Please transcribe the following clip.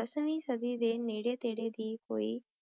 ਦਸਵੀ ਸਾਡੀ ਨੀਰੀ ਤੇਰੀ ਦੀ ਕੋਈ